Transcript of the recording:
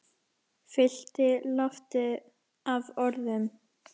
Fyllti loftið af orðum.